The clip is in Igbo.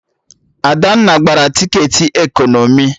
Adanna gbara tiketi ekọnọmi